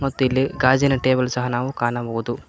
ಮತ್ತು ಇಲ್ಲಿ ಗಾಜಿನ ಟೇಬಲ್ ಸಹ ನಾವು ಕಾಣಬಹುದು.